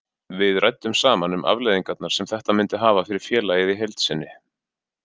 Við ræddum saman um afleiðingarnar sem þetta myndi hafa fyrir félagið í heild sinni.